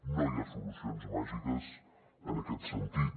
no hi ha solucions màgiques en aquest sentit